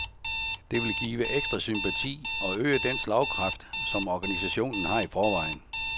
Det vil give ekstra sympati og øge den slagkraft, som organisationen har i forvejen.